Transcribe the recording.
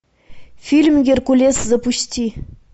фильм геркулес запусти